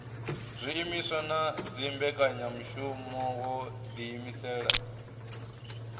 zwiimiswa na dzimbekanyamushumo wo ḓiimisela